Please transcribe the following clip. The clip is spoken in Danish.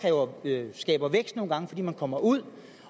nogle gange fordi man kommer ud